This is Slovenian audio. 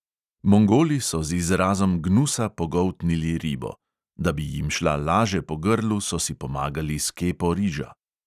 Mongoli so z izrazom gnusa pogoltnili ribo; da bi jim šla laže po grlu, so si pomagali s kepo riža.